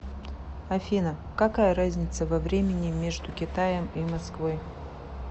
афина какая разница во времени между китаем и москвой